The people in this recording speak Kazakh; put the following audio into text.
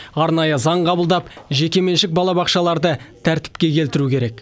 арнайы заң қабылдап жекеменшік балабақшаларды тәртіпке келтіру керек